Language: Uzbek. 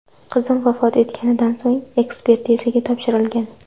Qizim vafot etganidan so‘ng, ekspertizaga topshirilgan.